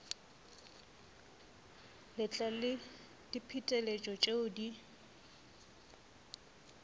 letlalo le diphetetšo tšeo di